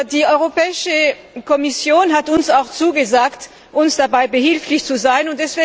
Die Europäische Kommission hat uns auch zugesagt, uns dabei behilflich zu sein.